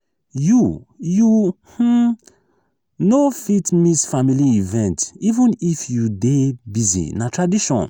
you you um no fit miss family event even if you dey busy na tradition.